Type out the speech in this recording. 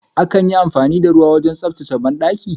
Akan yi amfani da ruwa wajen tsabtace banɗaki.